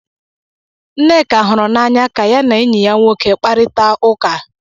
Nneka hụrụ n'anya ka ya na enyi ya nwoke kparịta ụka